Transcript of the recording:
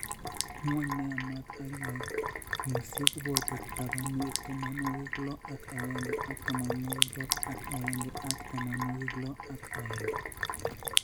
Ng'wony ne yaamaat ak ngeguusyek kobooto tabanwek tamanwogik lo ak aeng', ak tamanwogik lo ak aeng', ak tamanwogik lo ak aeng'.